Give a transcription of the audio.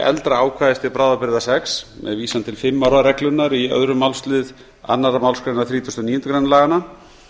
eldra ákvæðis til bráðabirgða sex með vísan til fimm ára reglunnar í öðrum málslið annarrar málsgreinar þrítugasta og níundu grein laganna